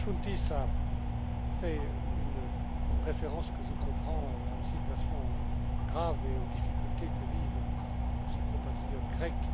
M. Chountis a fait une référence que je comprends à la situation grave et aux difficultés que vivent ses compatriotes grecs.